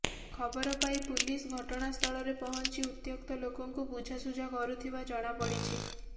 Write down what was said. ଖବର ପାଇ ପୁଲିସ ଘଟଣାସ୍ଥଳରେ ପହଞ୍ଚି ଉତ୍ତ୍ୟକ୍ତ ଲୋକଙ୍କୁ ବୁଝାସୁଝା କରୁଥିବା ଜଣାପଡ଼ିଛି